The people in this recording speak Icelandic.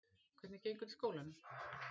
Hvernig gengur í skólanum?